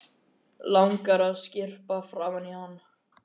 Langar að skyrpa framan í hann.